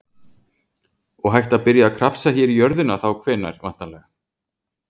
Og hægt að byrja að krafsa hér í jörðina þá hvenær, væntanlega?